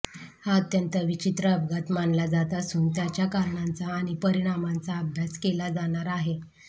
हा अत्यंत विचित्र अपघात मानला जात असून त्याच्या कारणांचा आणि परिणामांचा अभ्यास केला जाणार आहे